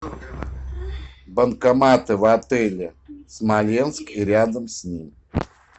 банкоматы в отеле смоленск и рядом с ним